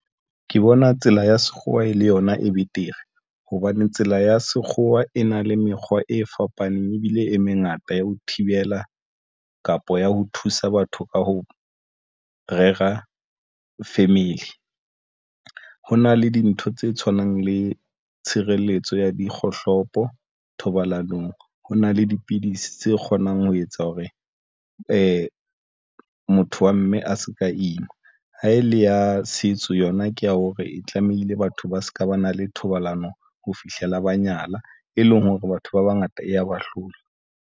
Ke bona tsela ya sekgowa e le yona e betere hobane tsela ya sekgowa e na le mekgwa e fapaneng ebile e mengata ya ho thibela kapa ya ho thusa batho ka ho rera family. Ho na le dintho tse tshwanang le tshireletso ya dikgohlopo thobalanong. Ho na le dipidisi tse kgonang ho etsa hore motho wa mme a se ka ima ha e le ya setso yona, ke ya hore e tlamehile batho ba se ka ba na le thobalano ho fihlela ba nyala, e leng hore batho ba bangata e ya bahlola.